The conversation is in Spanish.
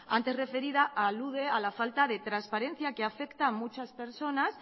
antes referida alude a la falta de transparencia que afecta a muchas personas